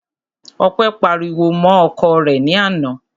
Ọpẹ́ pariwo mọ́ ọkọ rẹ̀ ní àná.